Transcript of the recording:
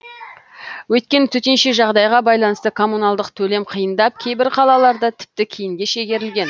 өйткені төтенше жағдайға байланысты коммуналдық төлем қиындап кейбір қалаларда тіпті кейінге шегерілген